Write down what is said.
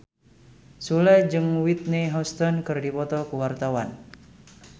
Sule jeung Whitney Houston keur dipoto ku wartawan